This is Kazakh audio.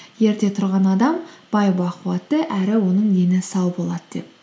ерте тұрған адам бай бақуатты әрі оның дені сау болады деп